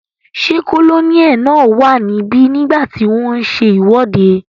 Ṣé kólóníẹ̀ náà wà níbi nígbàtí wọ́n n ṣe ìwọ́de?